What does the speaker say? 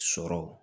Sɔrɔ